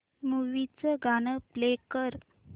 movie चं गाणं play कर